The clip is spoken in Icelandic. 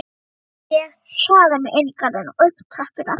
Ég hraða mér inn í garðinn og upp tröppurnar.